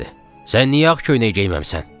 Sən niyə ağ köynək geyinməmisən?